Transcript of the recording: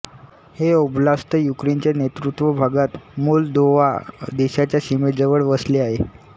हे ओब्लास्त युक्रेनच्या नैऋत्य भागात मोल्दोव्हा देशाच्या सीमेजवळ वसले आहे